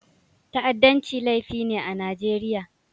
Ta'addanci laifi ne a Najeriya.